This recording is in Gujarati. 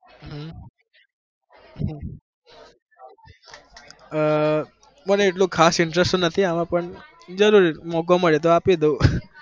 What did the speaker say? હમ આહ મને એટલો ખાસ interest તો નથી આમાં પણ જરૂર મોકો મળેતો આપી દઉ